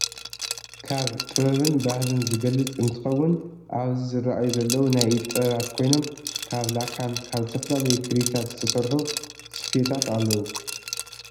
ካብ ጥበብን ባህልን ዝገልፅ እንትከውን ኣብዚ ዝረኣዩ ዘለው ናይ ኢድ ጥበባት ኮይኖም ካብ ላካን ካብ ዝተፈላለዩ ክሪታት ዝተሰርሑ ስፈታት ኣለው።